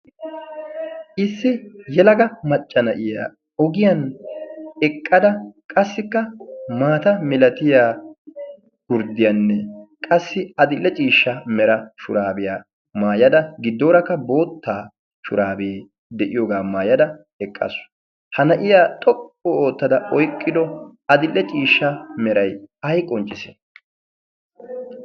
issi yelaga maccana'iya ogiyan eqqada qassikka maata milatiya gurddiyaanne qassi adille ciishsha mera shuraabiyaa maayada giddoorakka boottaa shuraabee de'iyoogaa maayada eqqasu ha na'iyaa xoqqu oottada oyqqido adille ciishsha meray ay qonccise